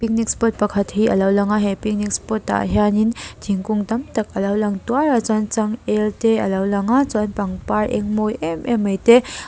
spot pakhat hi a lo lang a he picnic spot ah hianin thingkung tam tak a lo lang tuar a chuan changêl te a lo lang a chuan pangpar eng mawi em em mai te--